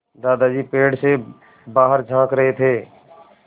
दादाजी पेड़ से बाहर झाँक रहे थे